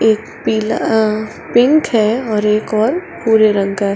एक पीला अ पिंक है और एक और भूरे रंग का --